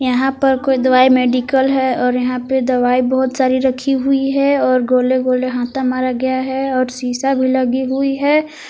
यहां पर कोई दवाई मेडिकल है और यहां पे दवाई बहोत सारी रखी हुई है और गोले गोले हाथा मारा गया है और शिशा भी लगी हुई है।